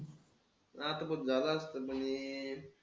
तर आता बघ झालं असतं पण हे,